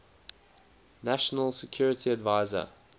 national security advisor